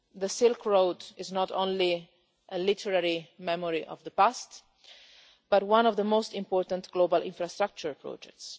The Silk Road is not only a literary memory of the past, but one of the most important global infrastructure projects.